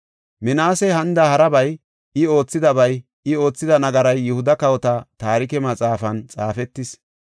Minaasey hanida harabay, I oothidabay, I oothida nagaray Yihuda Kawota Taarike Maxaafan xaafetis.